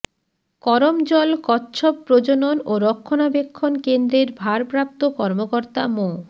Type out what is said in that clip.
করমজল কচ্ছপ প্রজনন ও রক্ষণাবেক্ষণ কেন্দ্রের ভারপ্রাপ্ত কর্মকর্তা মো